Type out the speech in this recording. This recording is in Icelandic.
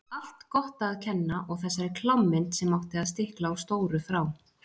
Allt Gotta að kenna og þessari klámmynd sem átti að stikla á stóru frá